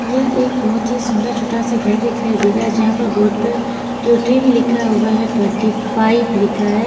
यह एक बहुत ही सुंदर छोटासा घर दिखाई दे रहा है जहां पर बोर्ड पर लिखा हुआ है ट्वेंटी फाइव लिखा है।